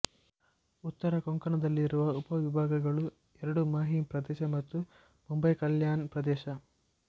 ಉತ್ತರ ಕೊಂಕಣದಲ್ಲಿರುವ ಉಪವಿಭಾಗಗಳು ಎರಡು ಮಾಹೀಂ ಪ್ರದೇಶ ಮತ್ತು ಮುಂಬಯಿಕಲ್ಯಾಣ್ ಪ್ರದೇಶ